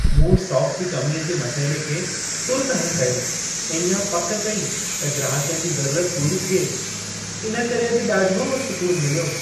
मूं स्टॉक जी कमीअ जे मसइले खे तुर्तु हलु कयो ऐं इहा पक कई त ग्राहकनि जी ज़रूरत पूरी थिए। इन करे अॼु ॾाढो सूकुनु मिलियो।